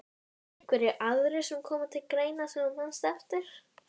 Á frábæran kærasta Börn: Ekki ennþá Hvað eldaðir þú síðast?